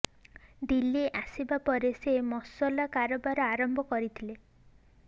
ଦିଲ୍ଲୀ ଆସିବା ପରେ ସେ ମସଲା କାରବାର ଆରମ୍ଭ କରିଥିଲେ